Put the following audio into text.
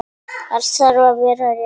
Allt þarf að vera rétt.